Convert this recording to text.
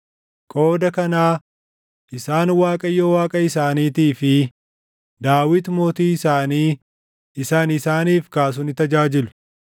Qooda kanaa isaan Waaqayyo Waaqa isaaniitii fi Daawit mootii isaanii isa ani isaaniif kaasu ni tajaajilu.